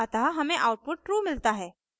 अतः हमें output true मिलता है